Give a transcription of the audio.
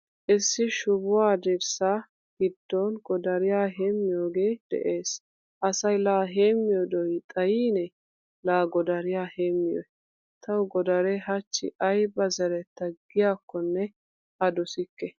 Issi shubuwaa dirssa giddon godariya heemiyoge de'ees. Asay la heemiyo do'i xaayine la godariyaa heemiyoy? Tawu godare hachchi ayba zeretta giyakkone a dosikke.